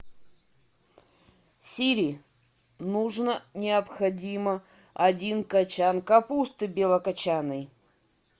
сири нужно необходимо один кочан капусты белокочанной